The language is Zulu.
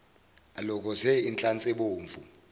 alokoze inhlansi ebomvu